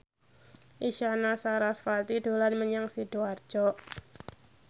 Isyana Sarasvati dolan menyang Sidoarjo